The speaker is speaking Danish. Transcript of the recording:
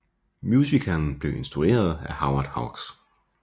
Musicalen blev instrueret af Howard Hawks